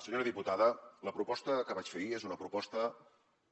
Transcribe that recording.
senyora diputada la proposta que vaig fer ahir és una proposta